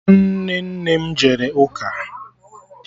Nwanne nne m jere ụka